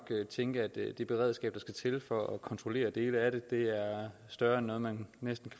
tænke at det beredskab der skal til for at kontrollere dele af det er større end noget man næsten